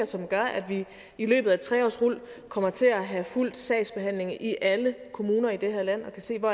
som gør at vi i løbet af et tre årsrul kommer til at have fuld sagsbehandling i alle kommuner i det her land og kan se hvor